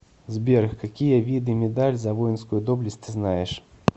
сбер какие виды медаль за воинскую доблесть ты знаешь